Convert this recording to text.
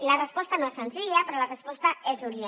la resposta no és senzilla però la resposta és urgent